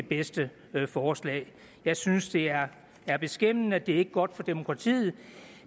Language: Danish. bedste forslag jeg synes det er beskæmmende og det er ikke godt for demokratiet